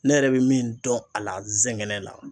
Ne yɛrɛ be min dɔn a la zɛgɛnɛ la